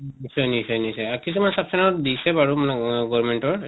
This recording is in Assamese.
উ নিশ্চয় নিশ্চয় নিশ্চয় । কিছুমান sub center ত দিছে বাৰে গৰ্মেন্তৰ